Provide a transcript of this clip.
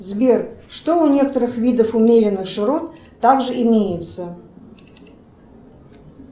сбер что у некоторых видов умеренных широт также имеется